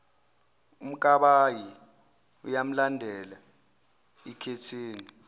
umkabayi uyamlandela ikhethini